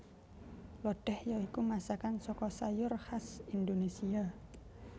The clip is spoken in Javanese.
Lodéh ya iku masakan saka sayur khas Indonésia